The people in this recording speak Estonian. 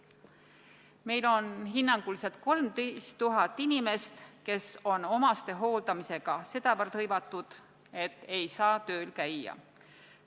Meil on hinnanguliselt 13 000 inimest, kes on lähedase inimese hooldamisega sedavõrd hõivatud, et ei saa tööl käia.